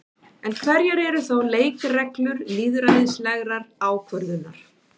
En hverjar eru þá leikreglur lýðræðislegrar ákvörðunar?